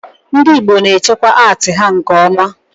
ndị Igbo na echekwa atii ha nke oma